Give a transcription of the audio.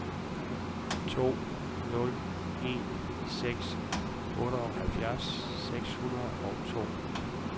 to nul en seks otteoghalvtreds seks hundrede og to